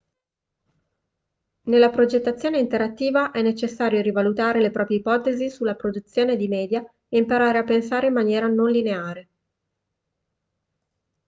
nella progettazione interattiva è necessario rivalutare le proprie ipotesi sulla produzione di media e imparare a pensare in maniera non lineare